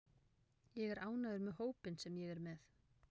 Ég er ánægður með hópinn sem ég er með.